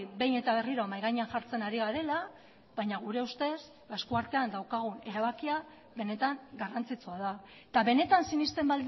behin eta berriro mahai gainean jartzen ari garela baina gure ustez esku artean daukagun erabakia benetan garrantzitsua da eta benetan sinesten